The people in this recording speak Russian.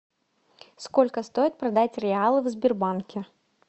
сколько стоит продать реалы в сбербанке